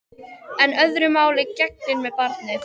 En öðru máli gegnir með barnið.